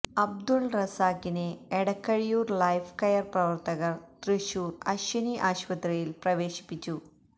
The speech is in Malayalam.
അബ്ദുല് റസാഖിനെ എടക്കഴിയൂർ ലൈഫ് കെയർ പ്രവർത്തകർ തൃശൂർ അശ്വിനി ആശുപത്രിയില് പ്രവേശിപ്പിച്ചു